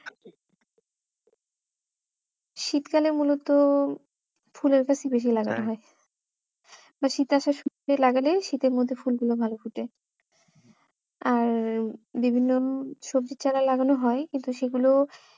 শীতকালে মূলত ফুলের গাছই বেশি লাগানো হয় বা শীত আসার শুরুতে লাগালে শীতের মধ্যে ফুলগুলো ভালো ফোটে আর বিভিন্ন সবজির চারা লাগানো হয় কিন্তু সেগুলো